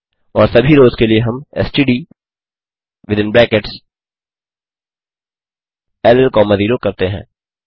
और सभी रोस के लिए हम एसटीडी विथिन ब्रैकेट्स ल कॉमा 0 करते हैं